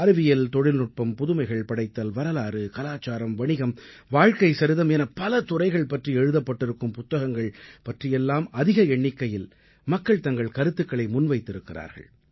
அறிவியல் தொழில்நுட்பம் புதுமைகள் படைத்தல் வரலாறு கலாச்சாரம் வணிகம் வாழ்க்கைசரிதம் என பல துறைகள் பற்றி எழுதப்பட்டிருக்கும் புத்தகங்கள் பற்றியெல்லாம் அதிக எண்ணிக்கையில் மக்கள் தங்கள் கருத்துக்களை முன்வைத்திருக்கிறார்கள்